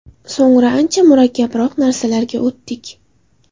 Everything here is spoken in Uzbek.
So‘ngra ancha murakkabroq narsalarga o‘tdik.